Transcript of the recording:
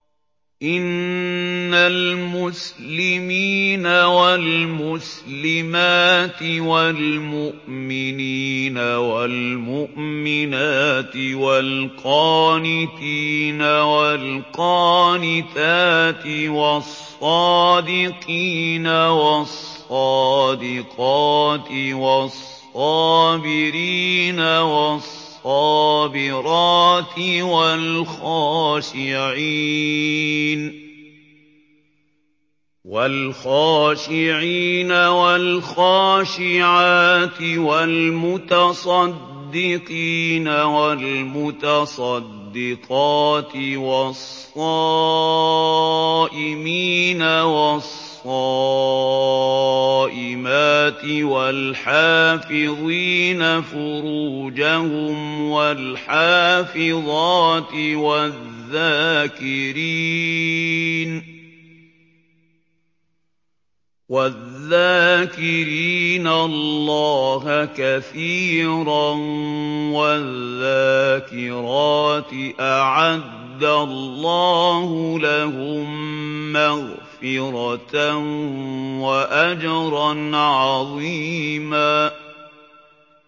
إِنَّ الْمُسْلِمِينَ وَالْمُسْلِمَاتِ وَالْمُؤْمِنِينَ وَالْمُؤْمِنَاتِ وَالْقَانِتِينَ وَالْقَانِتَاتِ وَالصَّادِقِينَ وَالصَّادِقَاتِ وَالصَّابِرِينَ وَالصَّابِرَاتِ وَالْخَاشِعِينَ وَالْخَاشِعَاتِ وَالْمُتَصَدِّقِينَ وَالْمُتَصَدِّقَاتِ وَالصَّائِمِينَ وَالصَّائِمَاتِ وَالْحَافِظِينَ فُرُوجَهُمْ وَالْحَافِظَاتِ وَالذَّاكِرِينَ اللَّهَ كَثِيرًا وَالذَّاكِرَاتِ أَعَدَّ اللَّهُ لَهُم مَّغْفِرَةً وَأَجْرًا عَظِيمًا